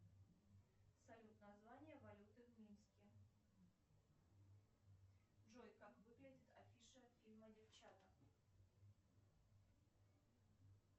салют название валюты в минске джой как выглядит афиша фильма девчата